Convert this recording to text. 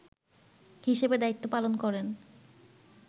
হিসেবে দায়িত্ব পালন করেন